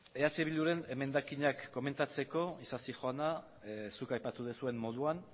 eh bilduren emendakinak komentatzeko isasi jauna zuk aipatu duzuen moduan